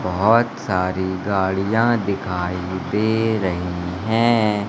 बहोत सारी गाड़ियां दिखाई दे रही है।